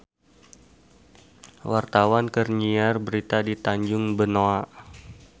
Wartawan keur nyiar berita di Tanjung Benoa